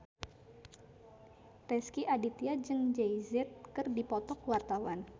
Rezky Aditya jeung Jay Z keur dipoto ku wartawan